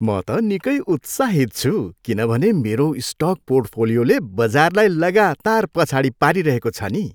म त निकै उत्साहित छु किनभने मेरो स्टक पोर्टफोलियोले बजारलाई लगातार पछाडि पारिरहेको छ नि।